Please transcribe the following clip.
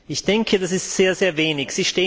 Ich denke, das ist sehr, sehr wenig.